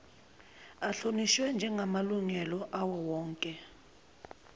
ahlonishwe njegamalungelo awowonke